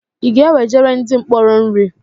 I ga-ewejere ndị mkpọrọ nri?